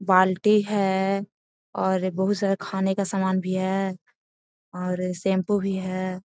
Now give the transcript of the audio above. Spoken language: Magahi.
बाल्टी है और बहुत सारा खाने का सामान भी है और शैम्पू भी है।